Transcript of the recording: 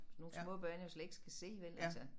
Sådan nogle små børn jo slet ikke skal se